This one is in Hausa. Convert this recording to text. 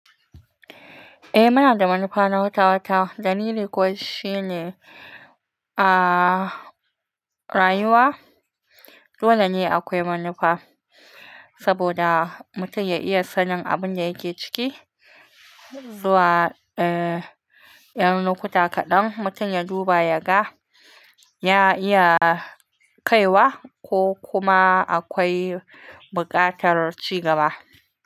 Eh munada manufa na wata-wata, danili ko shine a rayuwa, dole ne akwai manufa saboda mutum ya iya sanin abin da yake ciki zuwa eh yanar lokuta kaɗan mutum ya duba yaga ya iya kaiwa ko kuma akwai buƙatar cigaba.